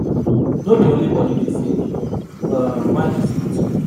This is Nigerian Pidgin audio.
No be only body de sick, um mind de dey sick too